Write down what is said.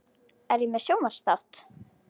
Er ég með sjónvarpsþátt?